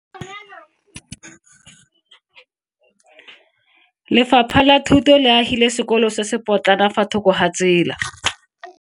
Lefapha la Thuto le agile sekolo se se potlana fa thoko ga tsela.